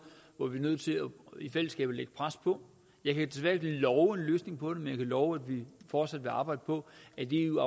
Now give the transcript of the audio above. hvor vi er nødt til i fællesskab at lægge pres på jeg kan desværre love en løsning på det men love at vi fortsat vil arbejde på at eu